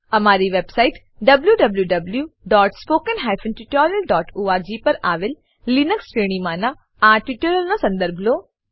અમારી website wwwspoken tutorialorg પર આવેલ લિનક્સ લીનક્સ શ્રેણીમાનાં આ ટ્યુટોરીયલનો સંદર્ભ લો